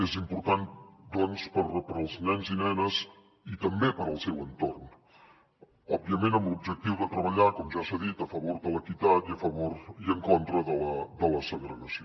és important doncs per als nens i nenes i també per al seu entorn òbviament amb l’objectiu de treballar com ja s’ha dit a favor de l’equitat i en contra de la segregació